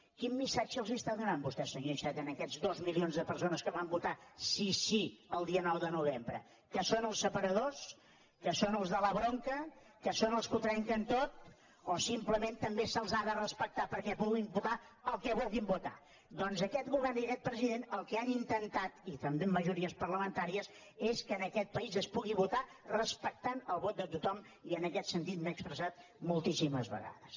quin missatge els està donant vostè senyor iceta a aquests dos milions de persones que van votar sí sí el dia nou de novembre que són els separadors que són els de la bronca que són els que ho trenquen tot o simplement també se’ls ha de respectar perquè puguin votar el que vulguin votar doncs aquest govern i aquest president el que han intentat i també amb majories parlamentàries és que en aquest país es pugui votar respectant el vot de tothom i en aquest sentit m’he expressat moltíssimes vegades